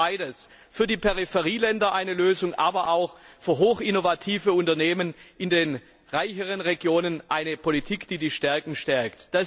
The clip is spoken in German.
Wir brauchen beides für die Peripherieländer eine Lösung, aber für hochinnovative Unternehmen in den reicheren Regionen auch eine Politik, die die Stärken stärkt.